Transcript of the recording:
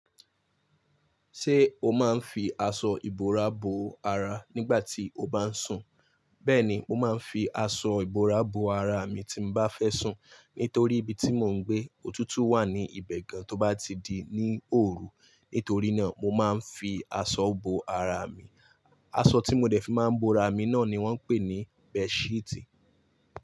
Ṣé o máa ń fi aṣọ ìbora bo ara nígbà tí o bá ń sùn? Bẹ́ẹ̀ni, mo máa ń fi aṣọ ìbora bo ara mi tí m bá fẹ́ sùn. Nítorí ibi tí mò ń gbé, òtútù wà ní ibẹ̀ gan, tó bá ti di ní òru. Nítorí náà, mo máa ń fi aṣọ bo ara mi. Aṣọ tí mo dẹ̀ fi máa ń bo ara mi náà ni wọ́n ń pè ní bẹẹṣíítì.